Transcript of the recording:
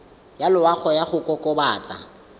ya loago ya go kokobatsa